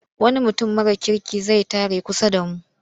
Wani mutum mara kirki zai tare a kusa da mu.